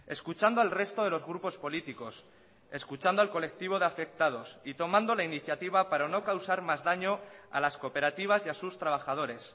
escuchando al resto de los grupos políticos escuchando al colectivo de afectados y tomando la iniciativa para no causar más daño a las cooperativas y a sus trabajadores